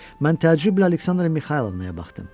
Mən təcrüblə Aleksandra Mixaylovnaya baxdım.